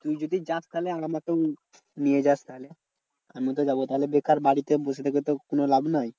তুই যদি যাস তাহলে আমাকেও নিয়ে যাস তাহলে আমি তো যাবো তাহলে বেকার বাড়িতে বসে থেকে তো কোনো লাভ নাই।